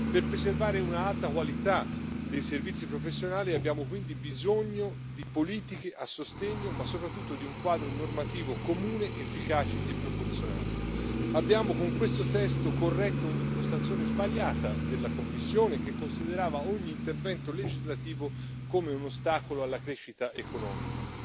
Per preservare un'alta qualità dei servizi professionali abbiamo quindi bisogno di politiche a sostegno, ma soprattutto di un quadro normativo comune, efficace e proporzionato. Con questo testo abbiamo corretto un'impostazione sbagliata della Commissione, che considerava ogni intervento legislativo come un ostacolo alla crescita economica.